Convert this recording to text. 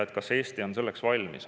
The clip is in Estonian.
Kas Eesti on selleks valmis?